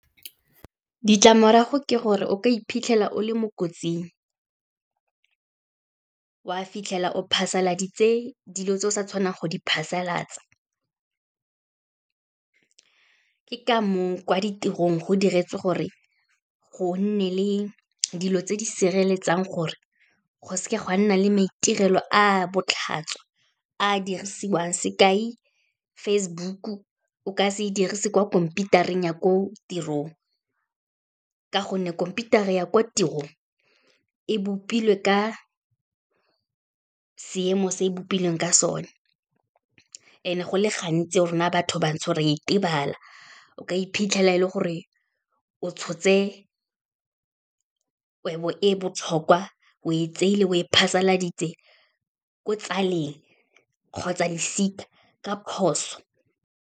Ditlamorago ke gore o ka iphitlhela o le mo kotsing, wa fitlhela o phasaladitse dilo tse o sa tshwanang go di phasalatsa, ke ka moo kwa ditirong go diretswe gore go nne le dilo tse di sireletsang gore, go seka gwa nna le maitirelo a botlhatswa a dirisiwang. Sekai Facebook-o, o ka se dirise kwa khomphiutareng ya ko tirong, ka gonne khompiutara ya kwa tirong e bopilwe ka seemo se e bopilweng ka sone, and-e go le gantsi rona batho bantsho ra itebala, o ka iphitlhela e le gore o tshotse kgwebo e botlhokwa o e tsaile o e phasaladitse ko tsaleng kgotsa losika ka phoso.